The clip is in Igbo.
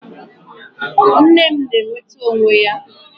Nne m na-enweta onwe ya